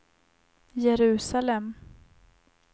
Jerusalem